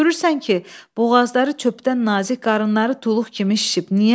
Bax, görürsən ki, boğazları çöpədən nazik, qarını tuluq kimi şişib.